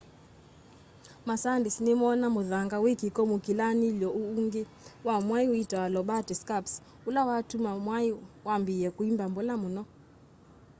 masayandisti nimoona muthanga wi kiko mukilanily'o uungi wa mwai witawa lobate scarps ula watuma mwai wambiia kwimba mbola muno